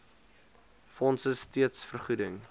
fonds steeds vergoeding